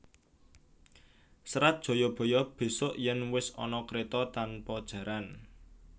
Serat JayabayaBesuk yen wis ana kreta tanpa jaran